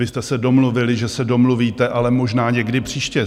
Vy jste se domluvili, že se domluvíte, ale možná někdy příště.